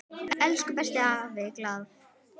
Elsku besti afi Glað.